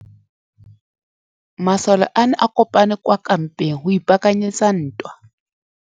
Masole a ne a kopane kwa kampeng go ipaakanyetsa ntwa.